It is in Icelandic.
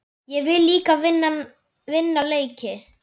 Ég vil líka vinna leiki.